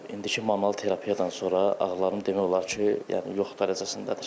İndiki manual terapiyadan sonra ağrılarım demək olar ki, yəni yox dərəcəsindədir.